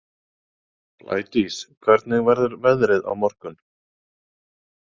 Blædís, hvernig verður veðrið á morgun?